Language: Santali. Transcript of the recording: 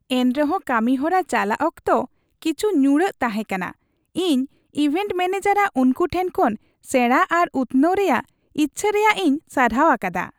ᱮᱱᱨᱮᱦᱚᱸ ᱠᱟᱹᱢᱤᱦᱚᱨᱟ ᱪᱟᱞᱟᱜ ᱚᱠᱛᱚ ᱠᱤᱪᱷᱩ ᱧᱩᱲᱟᱹᱜ ᱛᱟᱦᱮᱸ ᱠᱟᱱᱟ, ᱤᱧ ᱤᱵᱷᱮᱱᱴ ᱢᱮᱹᱱᱮᱡᱟᱨᱟᱜ ᱩᱱᱠᱩ ᱴᱷᱮᱱ ᱠᱷᱚᱱ ᱥᱮᱲᱟ ᱟᱨ ᱩᱛᱱᱟᱹᱣ ᱨᱮᱭᱟᱜ ᱤᱪᱪᱷᱟᱹ ᱨᱮᱭᱟᱜ ᱤᱧ ᱥᱟᱨᱦᱟᱣ ᱟᱠᱟᱫᱟ ᱾